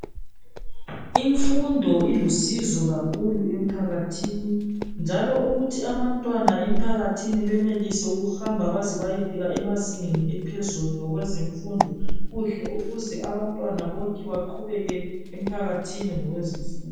Imfundo ilusizo kakhulu emphakathini njalo ukuthi abantwana emphakathini benelise ukuhamba baze bayefika emazingeni ephezulu ngokwezemfundo kuhle ukuze abantwana bonke baqhubeke emphakathini ngokwezemfundo